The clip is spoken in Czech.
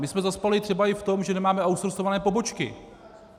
My jsme zaspali třeba i v tom, že nemáme outsourceované pobočky.